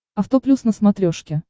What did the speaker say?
авто плюс на смотрешке